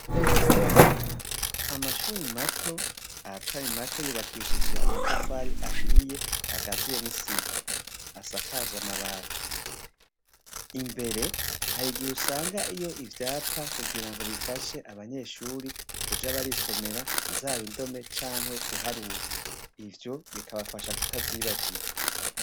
Amashuri mato ayatari make yubakishije amatafari ahiye agaziye n'isima asakaje amabati imbere harigihe usangayo ivyapa kugira ngo bifashe abanyeshuri kuja barisomera zaba indome canke guharura ivyo bikabafasha kutavyibagira.